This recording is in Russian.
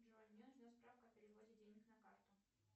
джой мне нужна справка о переводе денег на карту